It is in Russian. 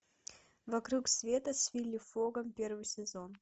вокруг света с вилли фогом первый сезон